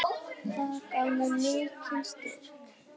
Það gaf mér mikinn styrk.